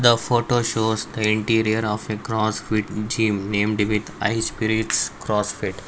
a photo shows the interior of a cross fit gym named with high spirits crossfit.